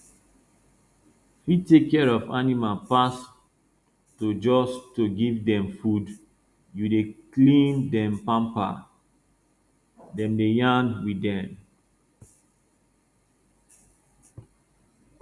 fi tek care of animal pass to jus to give dem food you dey clean dem pamper dem dey yarn with dem